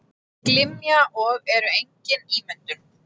Glymja og eru engin ímyndun.